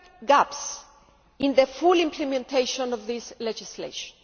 gaps in the full implementation of this legislation.